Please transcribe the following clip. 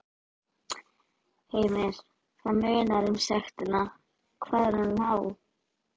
Heimir: Já, það munar um sektina, hvað er hún há?